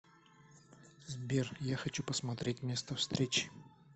сбер я хочу посмотреть место встречи